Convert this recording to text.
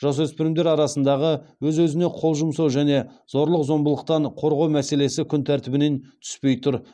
жасөспірімдер арасындағы өз өзіне қол жұмсау және зорлық зомбылықтан қорғау мәселесі күн тәртібінен түспей тұр